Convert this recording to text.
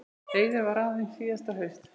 Eiður var ráðinn síðasta haust.